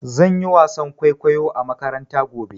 Zan yi wasan kwaikwayo a makaranta gobe.